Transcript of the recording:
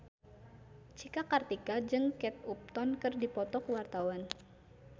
Cika Kartika jeung Kate Upton keur dipoto ku wartawan